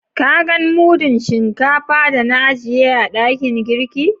Ka gan mudun shinkafa da na ajiye a dakin girki?